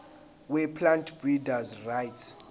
weplant breeders rights